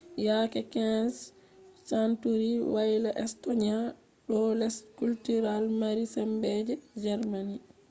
yake 15th century wayla estonia ɗo les cultural mari sembe je germany